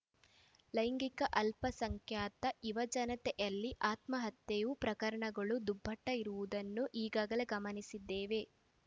ಲೈಂಗಿಕ ಅಲ್ಪಸಂಖ್ಯಾತ ಯುವಜನತೆಯಲ್ಲಿ ಆತ್ಮಹತ್ಯೆಯು ಪ್ರಕರಣಗೊಳು ದುಪ್ಪಟ್ಟಿರುವುದನ್ನು ಈಗಾಗಲೇ ಗಮನಿಸಿದ್ದೇವೆ